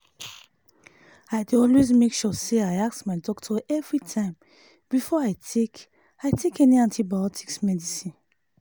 i dey always make sure say i ask my doctor everytime before i take i take any antibiotics medicine